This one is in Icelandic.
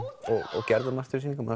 og gerðu margt fyrir sýninguna